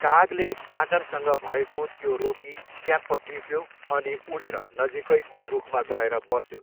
कागले बाँदरसँग भएको त्यो रोटी ट्याप्प टिप्यो अनि उडेर नजिकैको रुखमा गएर बस्यो।